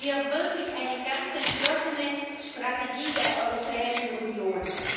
Hier brauchen wir wirklich eine ganz entschlossene Strategie der Europäischen Union.